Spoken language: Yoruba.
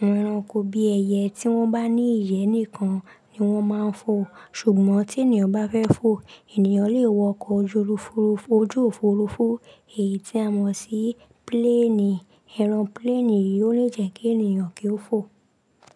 awon ẹranko bí ẹyẹ tí wọ́n bá ní ìyẹ́ nìkan ni wọ́n máa ń fò. Ṣùgbọ́n tí ènìyàn bá fẹ́ fò, ènìyàn lè wọ ọkọ̀ ojú òfuurufú èyí tí a mọ̀ sí pílénì. Ẹ̀rọ pílénì yìí yóò lè jẹ́ kí ènìyàn kí ó fò.